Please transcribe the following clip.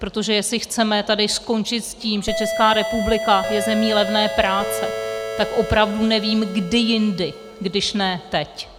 Protože jestli chceme tady skončit s tím, že Česká republika je zemí levné práce, tak opravdu nevím, kdy jindy, když ne teď.